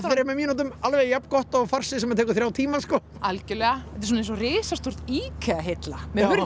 þremur mínútum alveg jafn gott og farsi sem tekur þrjá tíma sko algjörlega þetta er svona eins og risastór IKEA hilla með hurðum